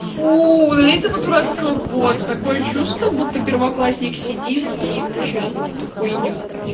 фу удали этого дурацкого бота такое чувство будто первоклассник сидит и печатает эту хуйню